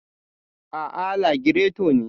Aa, lagireto ne.